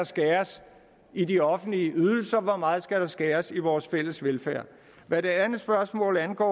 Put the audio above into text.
skæres i de offentlige ydelser hvor meget der skal skæres i vores fælles velfærd hvad det andet spørgsmål angår